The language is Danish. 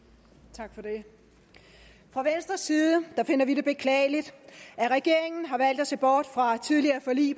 tak for det fra venstres side finder vi det beklageligt at regeringen har valgt at se bort fra tidligere forlig